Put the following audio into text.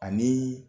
Ani